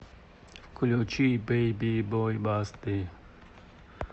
включи бэйби бой басты